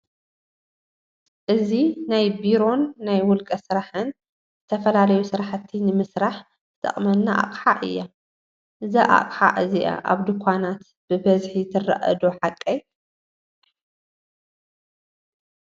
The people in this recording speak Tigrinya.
እዚ ናይ ቢሮን ናይ ውልቀ ስራሕን ዝተፈላለዩ ስራሕቲ ንመስራሕ ትጠቅመና ኣቅሓ እያ ::እዛ ኣቅሓ እዚ ኣብ ድኳናት በበዝሒ ትረኣዶ ሓቀይ ?